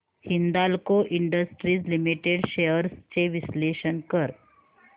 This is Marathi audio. हिंदाल्को इंडस्ट्रीज लिमिटेड शेअर्स चे विश्लेषण कर